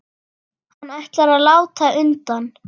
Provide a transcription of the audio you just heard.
Hann ætlar að láta undan.